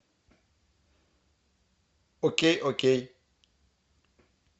окей окей